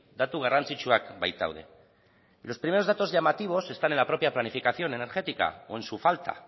datu garrantzitsuak baitaude y los primeros datos llamativos están en la propia planificación energética o en su falta